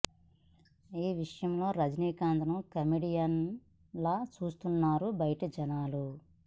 ఈ విషయంలో రజనీకాంత్ ను కమేడియన్ లా చూస్తున్నారు బయటి జనాలు